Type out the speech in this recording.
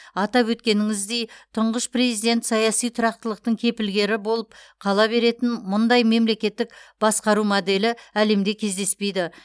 атап өткеніңіздей тұңғыш президент саяси тұрақтылықтың кепілгері болып қала беретін мұндай мемлекеттік басқару моделі әлемде кездеспейді